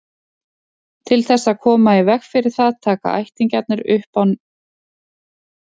Til þess að koma í veg fyrir það taka ættingjarnir upp ný nöfn.